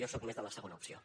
jo soc més de la segona opció